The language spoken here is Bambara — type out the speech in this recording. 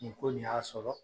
Nin ko nin y'a sɔrɔ